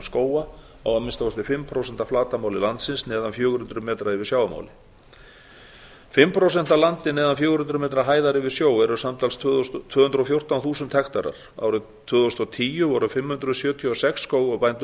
skóga á að minnsta kosti fimm prósent af flatarmáli láglendis neðan fjögur hundruð metrum yfir sjávarmáli fimm prósent af landi neðan fjögur hundruð metra hæðar yfir sjó eru samtals tvö hundruð og fjórtán þúsund hektarar árið tvö þúsund og tíu voru fimm hundruð sjötíu og sex skógarbændur